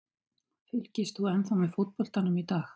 Fylgist þú ennþá með fótboltanum í dag?